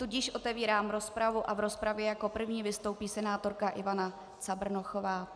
Tudíž otevírám rozpravu a v rozpravě jako první vystoupí senátorka Ivana Cabrnochová.